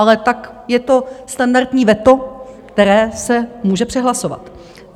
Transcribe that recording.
Ale tak je to standardní veto, které se může přehlasovat.